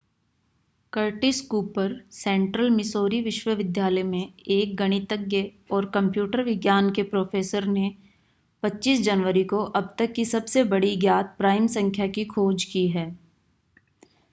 Curtis Cooper Central Missouri विश्वविद्यालय में एक गणितज्ञ और कंप्यूटर विज्ञान के प्रोफेसर ने 25 जनवरी को अब तक की सबसे बड़ी ज्ञात प्राइम संख्या की खोज की है